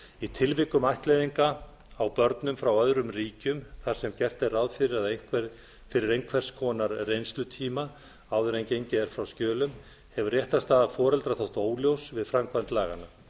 í tilvikum ættleiðinga á börnum frá öðrum ríkjum þar sem gert er ráð fyrir að fyrri einhvers konar reynslutíma áður en gengið er frá skjölum hefur réttarstaða foreldra þótt óljós við framkvæmd laganna